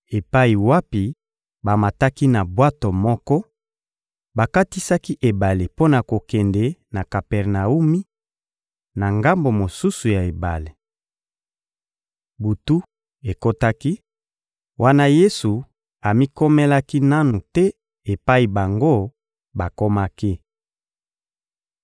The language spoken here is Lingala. epai wapi bamataki na bwato moko, bakatisaki ebale mpo na kokende na Kapernawumi, na ngambo mosusu ya ebale. Butu ekotaki, wana Yesu amikomelaki nanu te epai bango bakomaki.